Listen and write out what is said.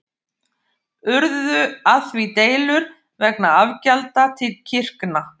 Urðu af því deilur vegna afgjalda til kirkna.